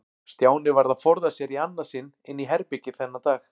Stjáni varð að forða sér í annað sinn inn í herbergi þennan dag.